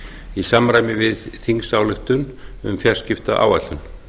í samræmi við þingsályktun um fjarskiptaáætlun